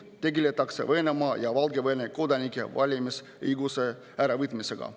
Tegeletakse Venemaa ja Valgevene kodanike valimisõiguse äravõtmisega.